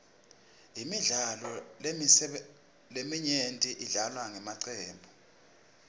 imidlalo leminyenti idlalwa ngemacembu